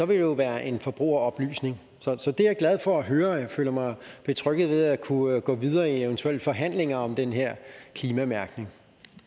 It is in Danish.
vil jo være en forbrugeroplysning så det er jeg glad for at høre og jeg føler mig betrygget ved at kunne gå videre i eventuelle forhandlinger om den her klimamærkning